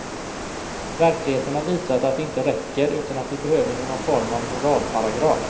Verkligheten har visat att det inte räcker, utan att vi behöver någon form av moralparagraf.